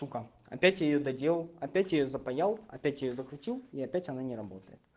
опять я её доделал опять её запаял я её закрутил и опять она не работает